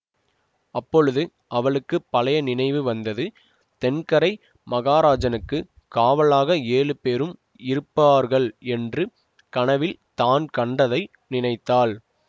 அப்பொழுது அவளுக்கு பழைய நினைவு வந்தது தென்கரை மகராஜனுக்குக் காவலாக ஏழு பேரும் இருப்பார்கள் என்று கனவில் தான் கண்டதை நினைத்தாள்